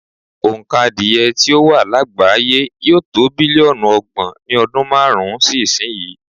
Òǹkà adìẹ tí ó wà lágbàáyé yóò to bílíọ̀nù ọgbọ̀n ní ọdún márùn-ún sí ìsìnyí.